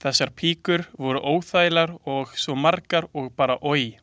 Þessar píkur voru óþægilegar og svo margar og bara oj.